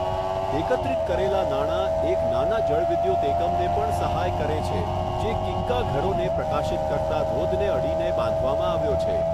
એકત્રિત કરેલા નાણાં એક નાના જળવિદ્યુત એકમને પણ સહાય કરે છે, જે કિગ્ગા ઘરોને પ્રકાશિત કરતા ધોધને અડીને બાંધવામાં આવ્યો છે.